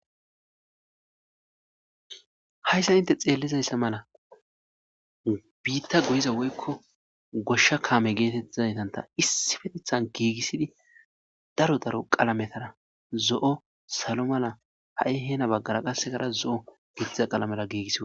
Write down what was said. hayssa inte xeellizayssa mala biitta goyiza woykko goshsha kaame geetettizaetanta issipetethan giigissidi daro daro qalametara zo'o salo mala ha'i hena baggara qassekara zo'o gettiza qalamala giigissi wothida